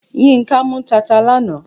Yínká mú tata lánàá.